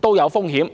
都受到影響。